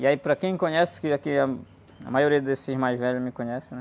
E aí, para quem me conhece, que aqui, a, a maioria desses mais velhos me conhece, né?